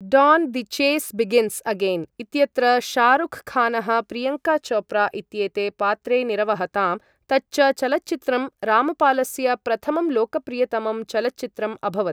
Don the chase begins again इत्यत्र शाहरुख खानः प्रियङ्का चोप्रा इत्येते पात्रे निरवहताम् तच्च चलच्चित्रम् रामपालस्य प्रथमं लोकप्रियतमं चलच्चित्रम् अभवत्।